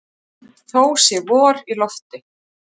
Þó sé vor í lofti.